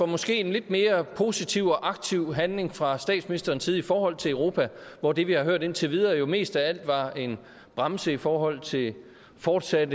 måske lidt mere positiv og aktiv handling fra statsministerens side i forhold til europa hvor det vi har hørt om indtil videre jo mest af alt var en bremse i forhold til en fortsat